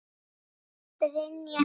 Brynja Dís.